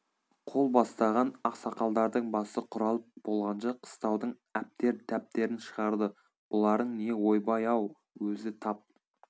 қол бастаған ақсақалдардың басы құралып болғанша қыстаудың әптер тәптерін шығарды бұларың не ойбай ау өзі тап